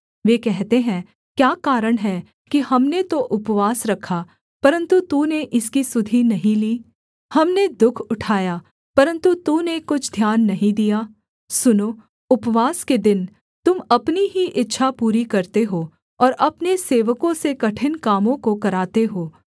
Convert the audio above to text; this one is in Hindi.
वे कहते हैं क्या कारण है कि हमने तो उपवास रखा परन्तु तूने इसकी सुधि नहीं ली हमने दुःख उठाया परन्तु तूने कुछ ध्यान नहीं दिया सुनो उपवास के दिन तुम अपनी ही इच्छा पूरी करते हो और अपने सेवकों से कठिन कामों को कराते हो